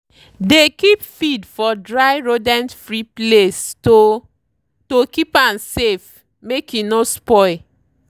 dey keep feed for dry rodent-free place to to keep am safe make e no spoil.